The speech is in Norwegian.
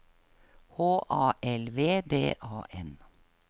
H A L V D A N